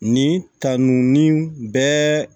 Nin ta nun bɛɛ